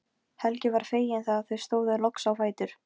Mig langaði út á götu og beint á Mokka.